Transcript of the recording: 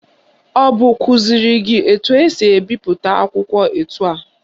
Ọ bụ kụziri gị etu esi ebipụta akwụkwọ etu a?